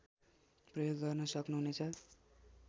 प्रयोग गर्न सक्नुहुनेछ